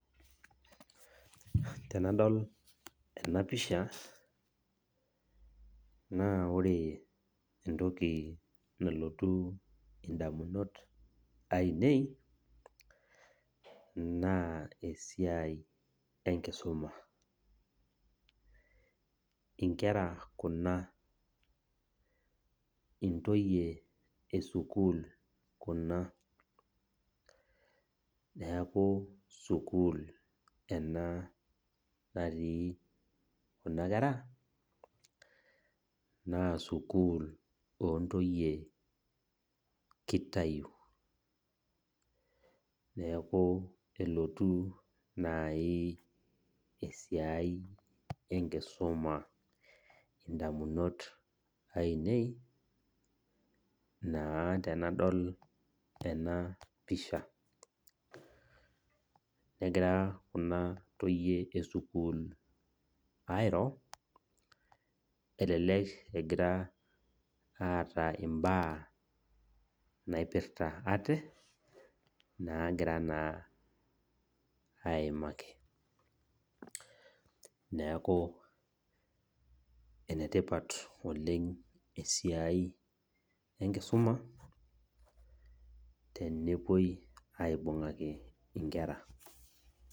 Tenadol enapisha naa ore entoki nalotu indamunot ainei naa esiai enkisuma . Inkera esukul kuna , intoyie esukul kuna , neaku sukul ena natii kuna kera naa sukul ontoyie kitayu , neku elotu nai esiai enkisuma indamunot ainei naa tenadol enapisha. Negira kuna toyie esukul airo elelek eeta imbaa naipirta ate nagira naa aimaki, neku enetipat oleng esiai enkisuma tenepuoi aibungaki inkera.